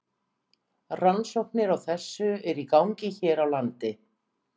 Rannsóknir á þessu eru í gangi hér á landi.